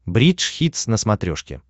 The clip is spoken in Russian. бридж хитс на смотрешке